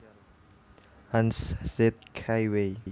Hanz Zeth Kaiway